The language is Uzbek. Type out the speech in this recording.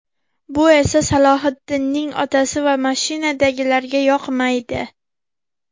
Bu esa Salohiddinning otasi va mashinadagilarga yoqmaydi.